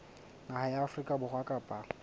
naha ya afrika borwa kapa